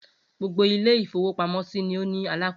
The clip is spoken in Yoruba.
Gbogbo ilé-ìfowópamọ́sí ni ó ní alákòóso.